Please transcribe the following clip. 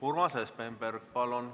Urmas Espenberg, palun!